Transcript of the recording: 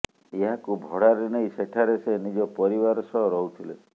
ଏହାକୁ ଭଡ଼ାରେ ନେଇ ସେଠାରେ ସେ ନିଜ ପରିବାର ସହ ରହୁଥିଲେ